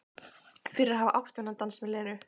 Fyrir að hafa átt þennan dans með Lenu.